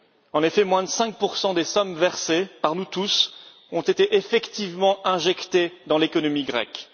En effet, moins de 5 des sommes versées par nous tous ont été effectivement injectées dans l'économie grecque.